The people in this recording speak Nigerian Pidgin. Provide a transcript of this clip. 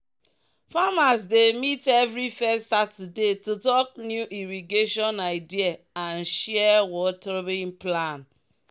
"farmers dey meet every first saturday to talk new irrigation idea and share watering plan.